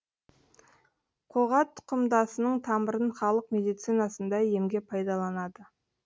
қоға тұқымдасының тамырын халық медицинасында емге пайдаланады